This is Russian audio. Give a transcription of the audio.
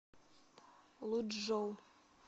лучжоу